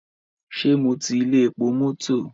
Ṣé mo ti ilé epo mọ́tọ̀?